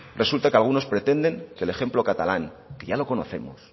resulta que algunos pretenden que el ejemplo catalán que ya lo conocemos